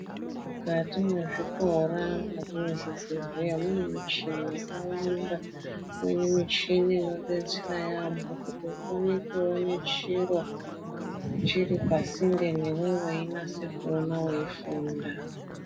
Mikati mezvikora, mukati mezvibhedhlera mune michini yakawanda. Muine michini inodetsera yaamho kuti ukone kuone chiro chiripasinde newee weinase kuona weifunda.